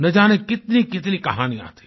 न जाने कितनीकितनी कहानियाँ थी